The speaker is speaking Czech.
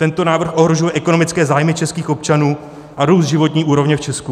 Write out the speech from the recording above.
Tento návrh ohrožuje ekonomické zájmy českých občanů a růst životní úrovně v Česku.